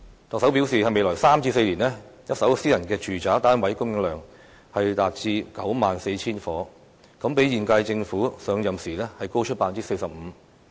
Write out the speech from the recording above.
特首表示在未來3至4年，一手私人住宅單位供應量將達到 94,000 個，比現屆政府上任時高出 45%。